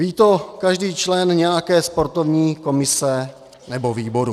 Ví to každý člen nějaké sportovní komise nebo výboru.